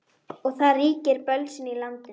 Og það ríkir bölsýni í landinu.